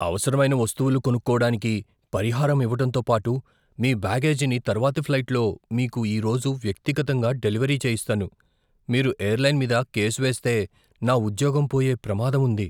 అవసరమైన వస్తువులు కొనుక్కోడానికి పరిహారం ఇవ్వటంతో పాటు మీ బ్యాగేజీని తర్వాతి ఫ్లైట్లో మీకు ఈరోజు వ్యక్తిగతంగా డెలివరీ చేయిస్తాను. మీరు ఎయిర్లైన్ మీద కేసు వేస్తే, నా ఉద్యోగం పోయే ప్రమాదం ఉంది.